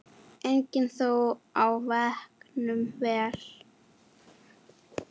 Einnig þjó á þegnum ver.